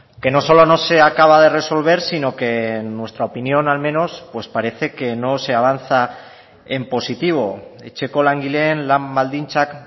que no solo no se acaba de resolver sino que en nuestra opinión al menos pues parece que no se avanza en positivo etxeko langileen lan baldintzak